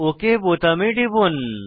okay বোতামে টিপুন